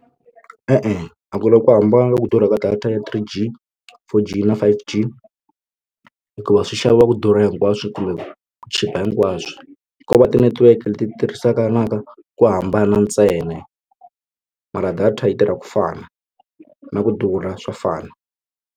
E-e, a ku na ku hambana ku durha ka data ya three G four G na five G hikuva swi xaviwa ku durha hinkwaswo kumbe chipa hinkwaswo ko va ti-network leti tirhisaka ku hambana ntsena mara data yi tirha ku fana na ku durha swa fana.